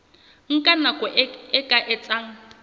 nka nako e ka etsang